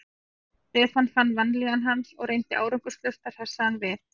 Stefán fann vanlíðan hans og reyndi árangurslaust að hressa hann við.